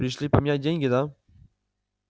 пришли поменять деньги да